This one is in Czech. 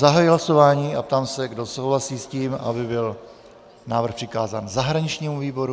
Zahajuji hlasování a ptám se, kdo souhlasí s tím, aby byl návrh přikázán zahraničnímu výboru.